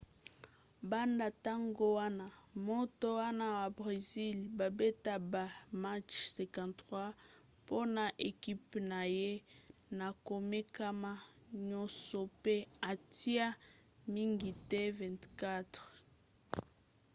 banda ntango wana moto wana ya bresil babeta ba match 53 mpona ekipe na ye na komekama nyonso pe atia mingete 24